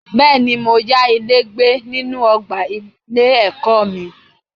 Bẹ́ẹ̀ni, mo ya ilé gbé nínú ọgbà ilé ẹ̀kọ́ mi.